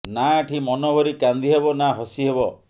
ନା ଏଠି ମନ ଭରି କାନ୍ଦି ହେବ ନା ହସି ହେବ